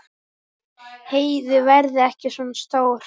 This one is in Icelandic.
Heiðu verði ekki svona stór.